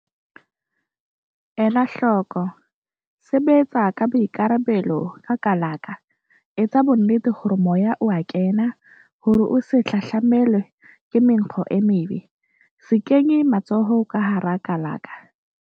Ela hloko- Sebetsa ka boikarabelo ka kalaka. Etsa bonnete hore moya o a kena, hore o se hahlamelwe ke menkgo e mebe. Se kenye matsoho ka hara kalaka.